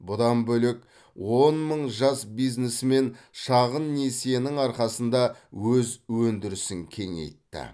бұдан бөлек он мың жас бизнесмен шағын несиенің арқасында өз өндірісін кеңейтті